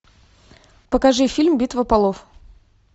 покажи фильм битва полов